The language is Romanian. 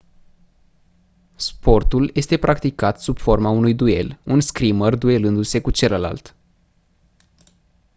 sportul este practicat sub forma unui duel un scrimer duelându-se cu celălalt